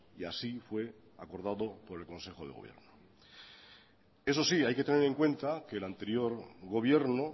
y así fue acordado por el consejo de gobierno eso sí hay que tener en cuenta que el anterior gobierno